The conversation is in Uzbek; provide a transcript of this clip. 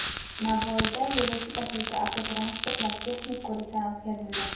Navoiyda yo‘lovchi tashuvchi avtotransportlar texnik ko‘rikdan o‘tkazildi .